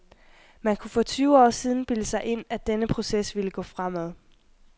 Man kunne for tyve år siden bilde sig ind, at denne proces ville gå fremad.